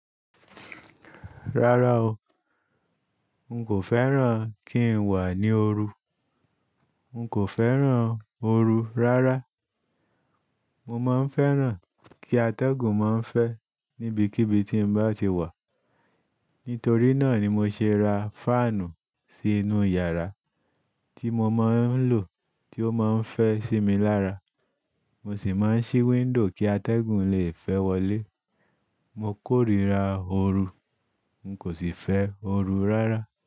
Rárá o, n kò fẹ́ràn kí n wà ní ooru, n kò fẹ́ràn ooru rárá. Mo máa ń fẹ́ràn kí atẹ́gùn máa ń fẹ́ níbikíbi tí n bá ti wà. Nítorí náà ni mo ṣe ra fáànù sí inú yàrá tí mo máa ń lò tí ó máa ń fẹ́ sí mi lára. Mo sì máa ń ṣí wíńdòw kí atẹ́gùn lè fẹ́ wọlé. Mo kórira ooru, n kò sì fẹ́ ooru rárá.